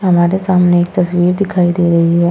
हमारे सामने एक तस्वीर दिखाई दे रही है --